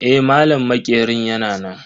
Eh, malam maƙerin yana nan.